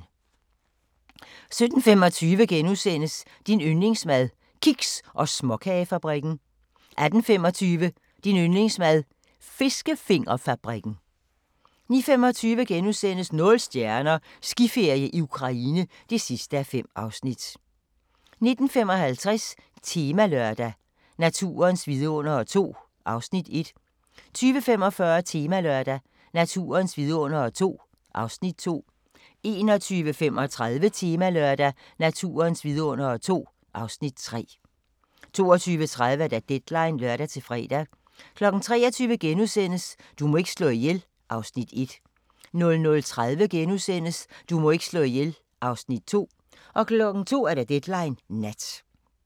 17:25: Din yndlingsmad: Kiks- og småkagefabrikken * 18:25: Din yndlingsmad: Fiskefingerfabrikken 19:25: Nul stjerner – Skiferie i Ukraine (5:5)* 19:55: Temalørdag: Naturens vidundere II (Afs. 1) 20:45: Temalørdag: Naturens vidundere II (Afs. 2) 21:35: Temalørdag: Naturens vidundere II (Afs. 3) 22:30: Deadline (lør-fre) 23:00: Du må ikke slå ihjel (Afs. 1)* 00:30: Du må ikke slå ihjel (Afs. 2)* 02:00: Deadline Nat